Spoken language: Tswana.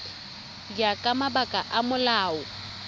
ya ka mabaka a molao